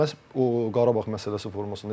Məhz o Qarabağ məsələsi formasında.